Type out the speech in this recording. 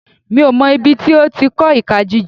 Mi ò mọ̀ ibi tí ó ti kọ́ ìka jíjẹ.